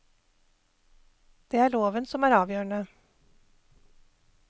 Det er loven som er avgjørende.